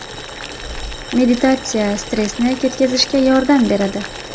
Meditatsiya stressni ketkazishga yordam beradi.